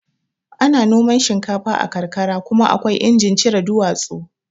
Ana noman shinkafa a karkara kuma akwai injin cire duwatsu